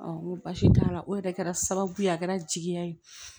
n ko baasi t'a la o yɛrɛ kɛra sababu ye a kɛra jigiya ye